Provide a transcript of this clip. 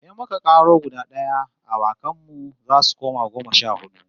In muka karo guda d'aya, awakan mu zasu koma goma sha hudu